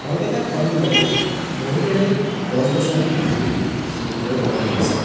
ঘৰকেইটাৰ সন্মুখতেই বহুকেইডাল গছ-গছনি ফুল দেখিবলৈ পোৱা গৈছে।